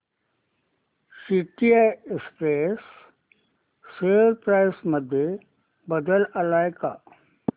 TCI Express share price मध्ये बदल आलाय का